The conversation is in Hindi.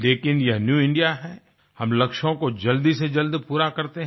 लेकिन यह न्यू इंडिया है हम लक्ष्यों को जल्दी से जल्द पूरा करते हैं